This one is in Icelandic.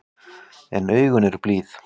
En augun eru blíð.